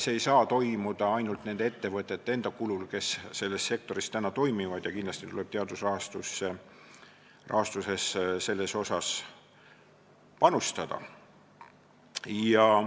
See ei saa toimuda ainult nende ettevõtete kulul, kes selles sektoris täna toimivad, kindlasti tuleb teaduse rahastuses sellesse panustada.